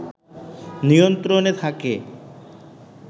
নিয়ন্ত্রণে থাকে